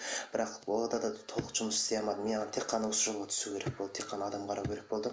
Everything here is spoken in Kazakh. бірақ толық жұмыс істей алмадым мен тек қана осы жолға түсу керек болды тек қана адам қарау керек болды